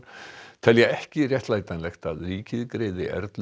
telja ekki réttlætanlegt að ríkið greiði Erlu